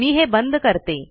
मी हे बंद करते